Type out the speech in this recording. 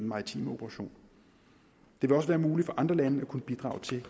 maritime operation det vil også være muligt for andre lande at kunne bidrage til